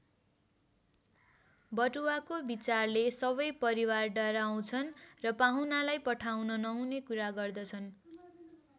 बटुवाको विचारले सबै परिवार डाराउँछन् र पाहुनालाई पठाउन नहुने कुरा गर्दछन्।